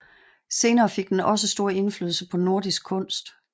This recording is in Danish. Senere fik den også stor indflydelse på nordisk kunst